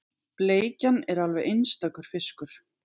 Bleikjan er alveg einstakur fiskur